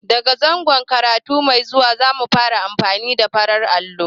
Da ga zangon karatu mai zuwa, za mu fara amfani da farin allo.